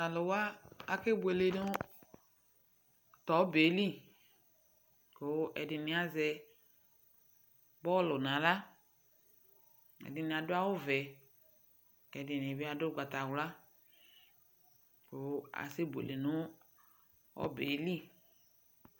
to alòwa ake buele no to ɔbɛ yɛ li kò ɛdini azɛ bɔlu n'ala ɛdini adu awu vɛ ɛdini bi adu ugbata wla kò asɛ buele no ɔbɛ yɛ li